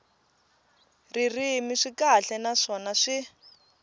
ririmi swi kahle naswona swi